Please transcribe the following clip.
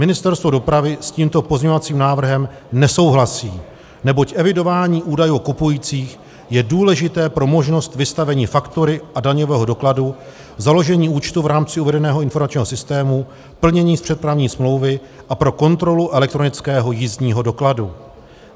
Ministerstvo dopravy s tímto pozměňovacím návrhem nesouhlasí, neboť evidování údajů o kupujících je důležité pro možnost vystavení faktury a daňového dokladu, založení účtu v rámci uvedeného informačního systému, plnění z přepravní smlouvy a pro kontrolu elektronického jízdního dokladu.